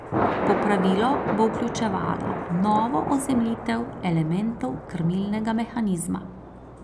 Popravilo bo vključevalo novo ozemljitev elementov krmilnega mehanizma.